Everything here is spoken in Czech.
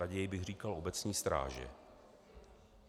Raději bych říkal obecní stráže.